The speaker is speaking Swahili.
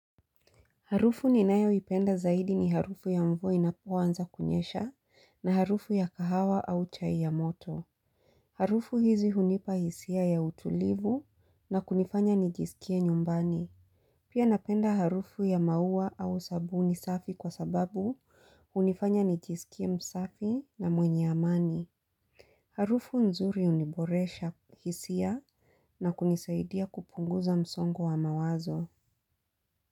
Harufu ninayo ipenda zaidi ni harufu ya mvua inapoanza kunyesha na harufu ya kahawa au chai ya moto. Harufu hizi hunipa hisia ya utulivu na kunifanya nijisikie nyumbani. Pia napenda harufu ya maua au sabuni safi kwa sababu hunifanya nijisikie msafi na mwenye amani. Harufu nzuri uniboresha hisia na kunisaidia kupunguza msongo wa mawazo.